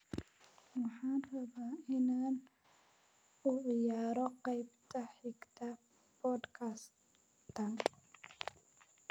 Waxaan rabaa inaan u ciyaaro qaybta xigta podcast-kan